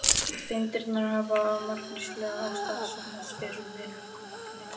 Steindirnar hafa af margvíslegum ástæðum safnast fyrir í vinnanlegu magni.